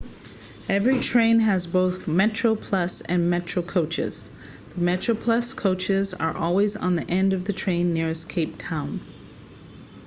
every train has both metroplus and metro coaches the metroplus coaches are always on the end of the train nearest cape town